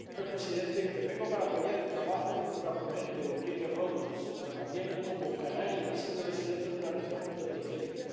Señor presidente, intervengo para apoyar el trabajo de nuestra ponente, Ulrike Rodust, pero también como canario, nacido y residente en una región ultraperiférica.